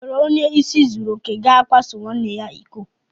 O nwere onye ịsị zuru okè ga akwaso nwanne ya iko?